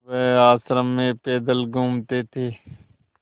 वह आश्रम में पैदल घूमते थे